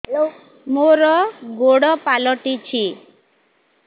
ମୋର ଗୋଡ଼ ପାଲଟିଛି